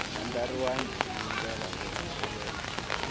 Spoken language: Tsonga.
andlariwangi hi ndlela yo landzelela